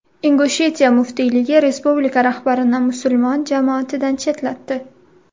Ingushetiya muftiyligi respublika rahbarini musulmon jamoatidan chetlatdi.